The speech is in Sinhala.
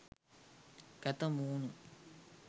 කැත මූණු..